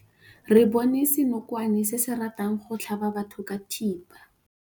Re bone senokwane se se ratang go tlhaba batho ka thipa.